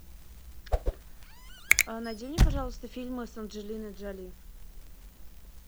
найди мне пожалуйста фильмы с анджелиной джоли